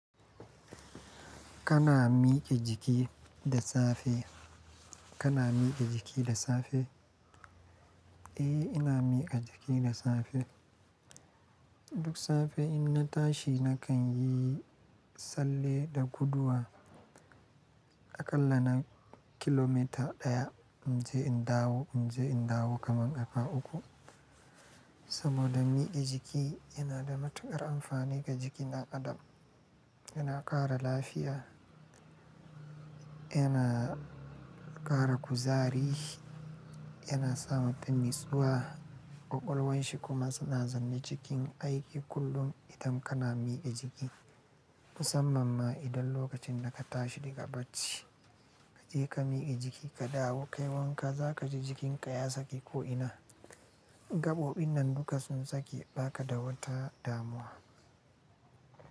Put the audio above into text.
Kana miƙa jiki da safe? Kana miƙa jiki da safe? Eh, ina miƙa jiki da safe. Duk safe in na tashi na kan yi tsalle da guduwa aƙalla na kilomita ɗaya. In je in dawo, in je in dawo kaman haka uku. Saboda miƙa jiki yana da matuƙar amfani ga jikin ɗan adam. Yana ƙara lafiya, yana ƙara kuzari, yana samar da nutsuwa, ƙwaƙwalwan shi kuma suna zanne cikin aiki kullum idan kana miƙa jiki. Musamman ma idan lokacin da ka tashi daga bacci ka je ka miƙa jiki ka dawo kai wanka za ka ji jikinka ya saki ko'ina. Gaɓoɓin nan duka sun sake ɓaka da wata damuwa.